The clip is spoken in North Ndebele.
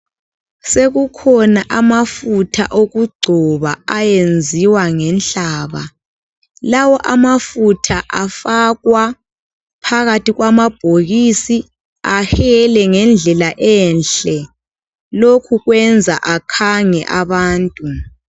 Sekukhona amafutha okugcoba ayenziwa ngenhlaba. Lawo amafutha afakwa phakathi kwamabhokisi ahele ngendlela enhle. Lokhu kwenza akhange abantu.